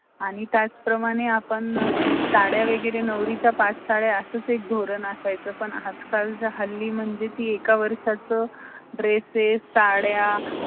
career छान करू शकतात किवा success त्यांना मिळू शक्त की त्यामुळे आता आम्हाला अस वाटते की job करण्यासाठी आधी आपले education